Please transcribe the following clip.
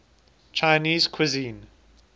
chinese cuisine